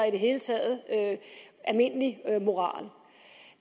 i det hele taget almindelig moral